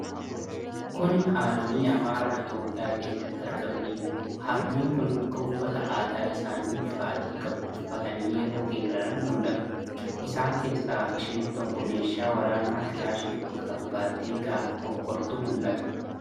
Kuni Haadholii Amaaraa, Itoophiyaa keessatti argamanidha. Haadholiin kun akka uffata aadaa isaanii bifa adii qabu uffatanii yoo geeraran mul'atu. Isaan keessa isheen tokko meeshaa waraanaa kilaashii fakkaatu baattee gaafa fokkortu mul'ata.